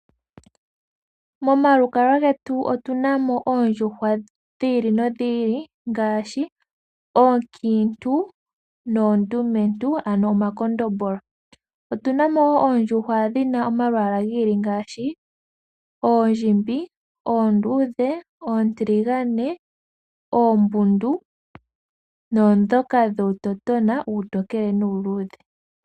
Momalukalwa getu otuna mo oondjuhwa dhi ili nodhi ili ngaashi oonkiintu noondumentu ano omakondombolo. Otuna mo wo oondjuhwa dhi na omalwaala gi ili ngaashi oondjimbi, oondudhe, oontiligane, oombundu naandhoka dhuutotona uutokele nuuluudhe.